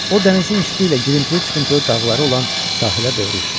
O dənizin üstü ilə girintili-çıxıntılı dağları olan sahilə doğru uçurdu.